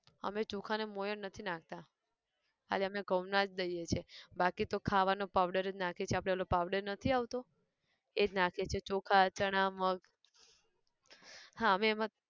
અમે ચોખા ને મોંયણ નથી નાખતા, ખાલી અમને ઘઉં ના જ લઈએ છે બાકી તો ખાવાનો powder જ નાખીએ છે આપડે ઓલો powder નથી આવતો! એજ નાખીએ છે ચોખા ચણાં મગ, હા અમે એમાં